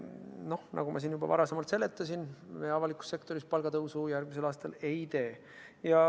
Aga nagu ma siin juba varem seletasin, avalikus sektoris järgmisel aastal palgatõusu ei tule.